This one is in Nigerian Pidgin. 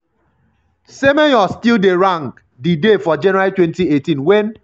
semenyo still dey um rank um di day for january 2018 wen